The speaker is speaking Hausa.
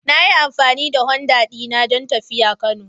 Na yi amfani da Honda dina don tafiya Kano.